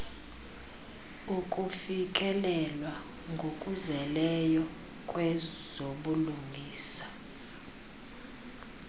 ukufikelelwa ngokuzeleyo kwezobulungisa